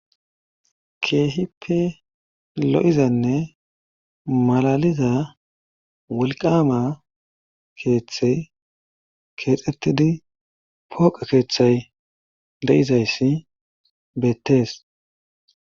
keehippe lo7izanne malaliza wulqama keeththey keexxettidi pooqa keeththay de7izayssi beettees.